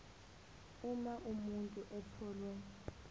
uma umuntu etholwe